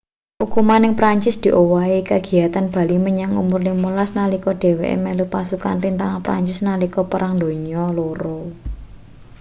ukuman ning perancis diowahi kagiyatane bali menyang umur 15 nalika dheweke melu pasukan rintangan perancis nalika perang donya ii